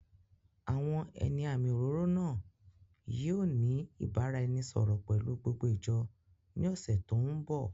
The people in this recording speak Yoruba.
Àwọn ẹni àmì òróró náà yìí ó ní ìbáraẹnisọọ̀rọ̀ pelu gbogbo ìjọ ní ọ̀sẹ̀ tòun bọ̀.